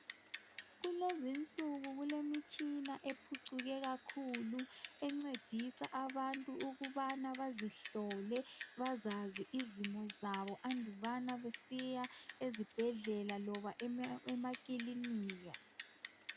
Kulezinsuku kulemitshina ephucuke kakhulu encedisa abantu ukubana bazihlole, bazazi izimo zabo andubana besiya eziBhedlela loba emaKilinika.